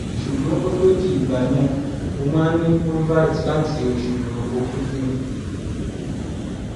ṣùgbọn kó tó di ìgbà yẹn mo máa ń ní folvite láti oṣù okúdù